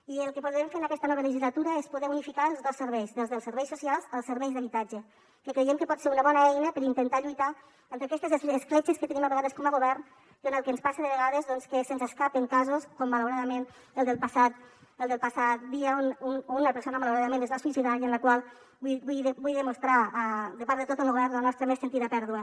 i el que podrem fer en aquesta nova legislatura és poder unificar els dos serveis des dels serveis socials als serveis d’habitatge que creiem que pot ser una bona eina per intentar lluitar contra aquestes escletxes que tenim a vegades com a govern i contra el que ens passa de vegades que se’ns escapen casos com malauradament el del passat dia en què una persona malauradament es va suïcidar i per la qual vull mostrar de part de tot el govern la nostra més sentida pèrdua